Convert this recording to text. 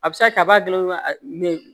A bɛ se ka kɛ a b'a dilan dɔrɔn a bɛ